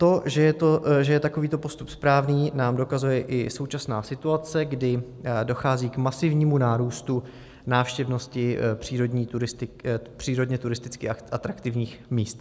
To, že je takovýto postup správný, nám dokazuje i současná situace, kdy dochází k masivnímu nárůstu návštěvnosti přírodně turisticky atraktivních míst.